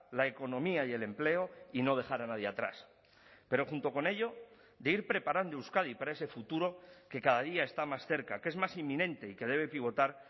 la economía y el empleo y no dejar a nadie atrás pero junto con ello de ir preparando euskadi para ese futuro que cada día está más cerca que es más inminente y que debe pivotar